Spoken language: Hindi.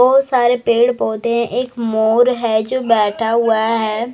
बहुत सारे पेड़ पौधे एक मोर हैं जो बैठा हुआ है।